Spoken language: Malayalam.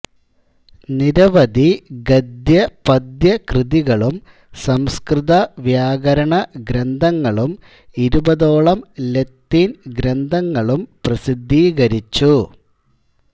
നിരവധി ഗദ്യ പദ്യ കൃതികളും സംസ്കൃത വ്യാകരണ ഗ്രന്ഥങ്ങളും ഇരുപതോളം ലത്തീൻ ഗ്രന്ഥങ്ങളും പ്രസിദ്ധീകരിച്ചു